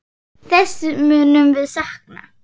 Þess munum við sakna.